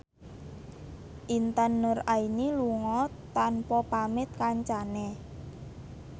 Intan Nuraini lunga tanpa pamit kancane